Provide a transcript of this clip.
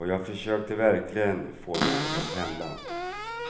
Och jag försökte verkligen få något att hända.